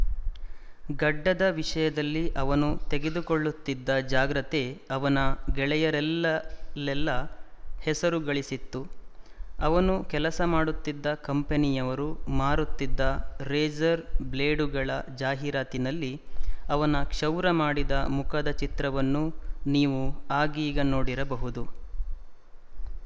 ಗಡ್ಡದ ವಿಷಯದಲ್ಲಿ ಅವನು ತೆಗೆದುಕೊಳ್ಳುತ್ತಿದ್ದ ಜಾಗ್ರತೆ ಅವನ ಗೆಳೆಯರಲ್ಲೆಲ್ಲ ಹೆಸರು ಗಳಿಸಿತ್ತು ಅವನು ಕೆಲಸ ಮಾಡುತ್ತಿದ್ದ ಕಂಪನಿಯವರು ಮಾರುತ್ತಿದ್ದ ರೇಜರ್ ಬ್ಲೇಡುಗಳ ಜಾಹಿರಾತಿನಲ್ಲಿ ಅವನ ಕ್ಷೌರಮಾಡಿದ ಮುಖದ ಚಿತ್ರವನ್ನೂ ನೀವು ಆಗೀಗ ನೋಡಿರಬಹುದು